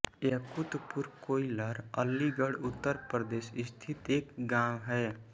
यकूतपुर कोइल अलीगढ़ उत्तर प्रदेश स्थित एक गाँव है